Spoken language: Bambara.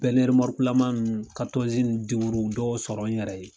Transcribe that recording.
dɔw sɔrɔ n yɛrɛ ye.